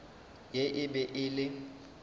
ye e be e le